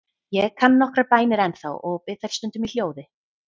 Ég kann nokkrar bænir ennþá og bið þær stundum í hljóði.